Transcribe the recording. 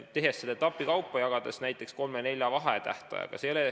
Seda võiks teha etapikaupa, jagades tähtaja näiteks kolme-nelja vahetähtaja vahel.